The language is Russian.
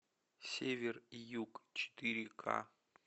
север и юг четыре ка